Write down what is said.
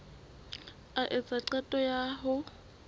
a etsa qeto ya ho